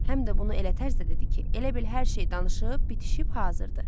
Həm də bunu elə tərzdə dedi ki, elə bil hər şey danışıb bitişib hazırdır.